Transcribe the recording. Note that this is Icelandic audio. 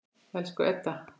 Elsku Edda.